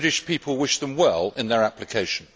The British people wish them well in their application.